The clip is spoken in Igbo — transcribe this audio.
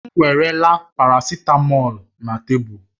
M weerela paracitamọ̀lu na tebụl